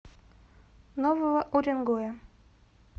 нового уренгоя